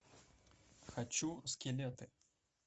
хочу скелеты